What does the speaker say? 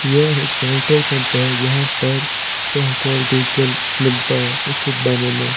यह एक petrol pump है जहां पर पेट्रोल डीजल मिलता है उचित दामों में--